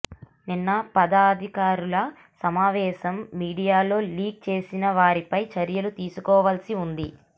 నిన్న పదాధికారుల సమావేశం మీడియాలో లీక్ చేసిన వారిపై చర్యలు తీసుకోవాల్సి ఉంది